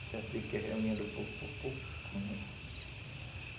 reunião